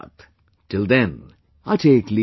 Till then, I take leave of you